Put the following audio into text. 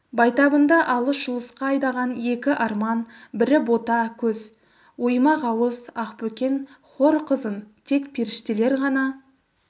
байтабынды алыс-жұлысқа айдаған екі арман бірі бота көз оймақ ауыз ақбөкен хор қызын тек періштелер ғана